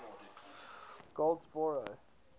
goldsboro